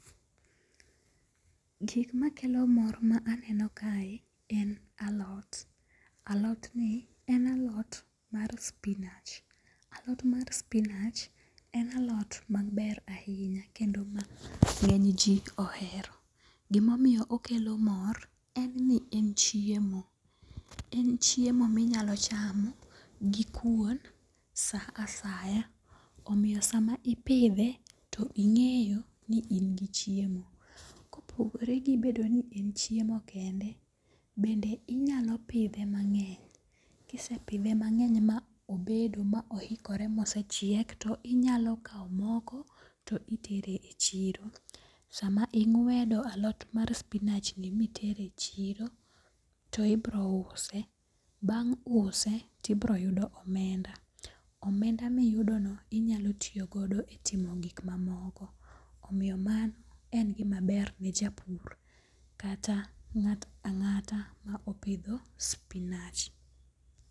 Gik makelo mor ma eneno kae, en alot alotni en alot mar spinach, alot mar spinah en alot maber ahinya ma nge'ny ji ohero, gima omyo okelo mor en ni en chiemo, en chiemo minyalo chamo gi kuon saa asaya omiyo sama ipithe to inge'yo ni in gi chiemo, ka opogore gi bedo ni en chiemo kende, bende inyalo pithe mange'ny, kisepithe mangeny ma obedo ma oikore ma osechiek to inyalo kawo moko to itere e chiro, sama ingwedo alot mar spinachni mitere e chiro to ibro use, bang' use to ibiroyudo omenda, omenda miyudono inyalo tiyo godo e timo gik mamoko omiyo mano en gimaber ne japur kata nga't anga'ta ma opitho spinach.